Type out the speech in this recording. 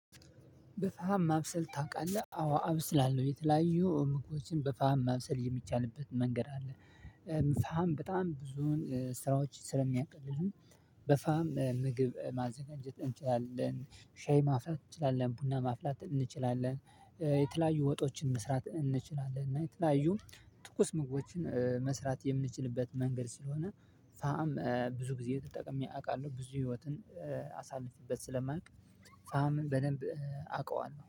በፋም ማብሰል ታውቃለህ አዎ አበስላለሁ የተለያዩ ምግቦችን በፋም ማብሰል የሚቻልበት መንገድ አለ። ፋም በጣም ብዙን ስራዎች ስለሚያቀልልን። በፋም ምግብ ማዘጋጀት እንችላለን ሻይ ማፍላት እንችላለን ቡና ማፍላት እንችላለን የተለያዩ ወጦችን መስራት እንችላለን እና የተለያዩ ትኩስ ምግቦችን መስራት የምችልበት መንገድ ስለሆነ ፋም ብዙ ጊዜ ተጠቅሜ አውቃለሁ ብዙ ህይወትን አሳልፌበት ስለማውቅ። ፋምን በደንብ አውቀዋለሁ